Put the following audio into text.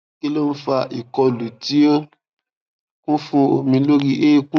kí ló ń fa ìkọlù tí ó kún fún omi lórí eékún